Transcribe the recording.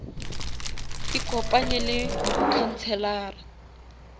ikopanye le mokhanselara